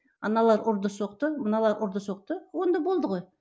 аналар ұрды соқты мыналар ұрды соқты онда болды ғой